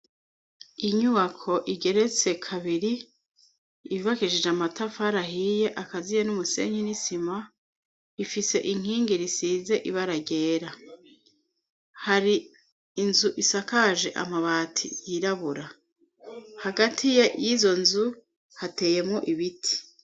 Inyubako igeretse kabiri ibvakishije amatafarahiye akaziye n'umusenye n'isima ifise inkingi risize ibaragera hari inzu isakaje amabati yirabura hagati ye y'izo nzu hateyemwo ibiti.